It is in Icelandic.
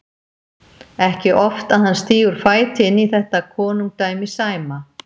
Ekki oft að hann stígur fæti inn í þetta konungdæmi Sæma.